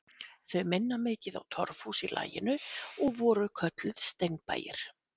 Þau minna mikið á torfhús í laginu og voru kölluð steinbæir.